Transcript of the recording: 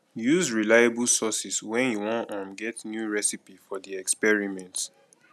use reliable sources when you wan um get new recipe for di experiment